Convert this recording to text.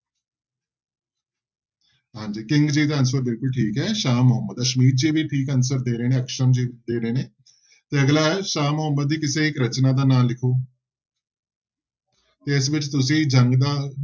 ਹਾਂਜੀ ਕਿੰਗ ਜੀ ਦਾ answer ਬਿਲਕੁਲ ਠੀਕ ਹੈ ਸ਼ਾਹ ਮੁਹੰਮਦ, ਅਸਮੀਤ ਜੀ ਵੀ ਠੀਕ answer ਦੇ ਰਹੇ ਨੇ ਜੀ ਦੇ ਰਹੇ ਨੇ ਤੇ ਅਗਲਾ ਹੈ ਸ਼ਾਹ ਮੁਹੰਮਦ ਦੀ ਕਿਸੇ ਇੱਕ ਰਚਨਾ ਦਾ ਨਾਂ ਲਿਖੋ ਤੇ ਇਸ ਵਿੱਚ ਤੁਸੀਂ ਜੰਗ ਦਾ